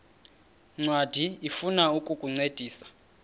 ncwadi ifuna ukukuncedisa